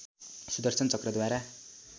Sudarshan चक्रद्वारा